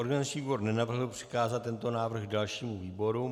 Organizační výbor nenavrhl přikázat tento návrh dalšímu výboru.